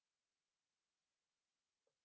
हमसे जुड़ने के लिए धन्यवाद